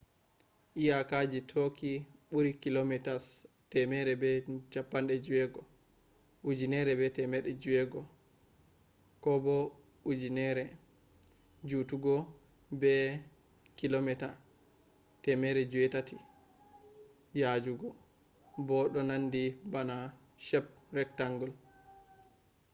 iyakaji turkey ɓuri kilometres 1,600 1,000 mi jutugo be 800km 500 mi yajugo bo ɗo nandi bana shape rectangle